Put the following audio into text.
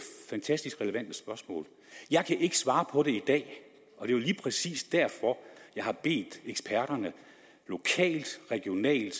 fantastisk relevant spørgsmål jeg kan ikke svare på det det er lige præcis derfor jeg har bedt eksperterne lokalt regionalt